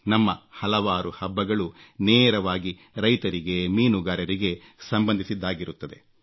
ನಮ್ಮ ಹಲವಾರು ಹಬ್ಬಗಳು ನೇರವಾಗಿ ರೈತರಿಗೆ ಮೀನುಗಾರರಿಗೆ ಸಂಬಂಧಿಸಿದ್ದಾಗಿರುತ್ತವೆ